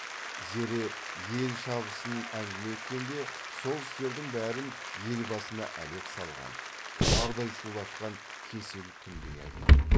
зере ел шабысын әңгіме еткенде сол істердің бәрін ел басына әлек салған ұлардай шулатқан кесел күндей айтатын